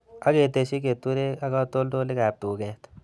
Ak ketesyi keturek ak katoltolikab tuket